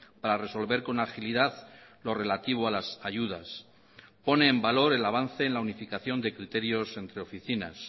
para resolver con agilidad lo relativo a las ayudas pone en valor el avance en la unificación de criterios entre oficinas